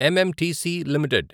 MMTC limited